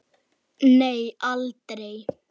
Nei aldrei.